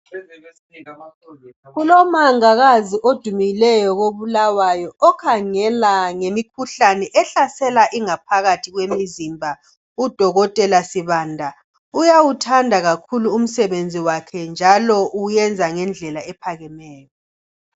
Kulomongikazi odumileyo koBulawayo okhangele ngemikhuhlane ehlasela ingaphakathi kwemizimba. Udokotela sibanda uyawuthanda kakhulu umsebenzi wakhe njalo uwenza ngendlela ephakemeyo.